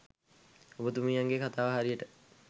ඔබතුමියගේ කතාව හරියට